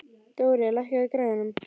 Dorri, lækkaðu í græjunum.